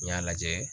N y'a lajɛ